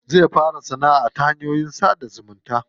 Zai fara sanaʼa ta hanyoyin sada zumunta.